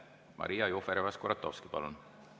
Maria Jufereva-Skuratovski, palun!